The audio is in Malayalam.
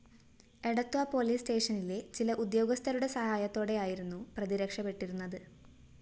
എടത്വ പോലീസ്‌ സ്റ്റേഷനിലെ ചില ഉദ്യോഗസ്ഥരുടെ സഹായത്തോടെയായിരുന്നു പ്രതി രക്ഷപ്പെട്ടിരുന്നത്‌